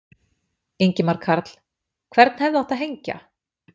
Ingimar Karl: Hvern hefði átt að hengja?